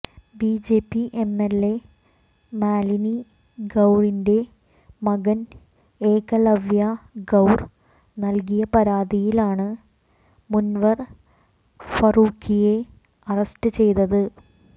BJP MLA Malini ഗൌറിന്റെ മകൻ ഏകലവ്യ ഗൌർ നൽകിയ പരാതിയിലാണ് മുനവർ ഫാറൂഖിയെ അറസ്റ്റ് ചെയ്തത്